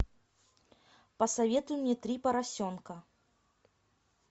посоветуй мне три поросенка